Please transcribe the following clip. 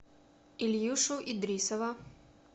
ильюшу идрисова